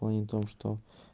в плане том что